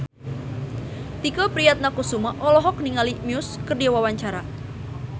Tike Priatnakusuma olohok ningali Muse keur diwawancara